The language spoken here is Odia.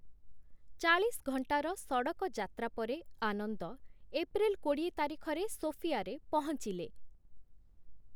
ଚାଳିଶ ଘଣ୍ଟାର ସଡ଼କ ଯାତ୍ରା ପରେ ଆନନ୍ଦ ଏପ୍ରିଲ୍‌ କୋଡ଼ିଏ ତାରିଖରେ ସୋଫିଆରେ ପହଞ୍ଚିଲେ ।